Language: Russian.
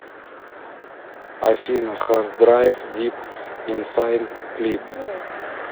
афина хардрайв дип инсайд клип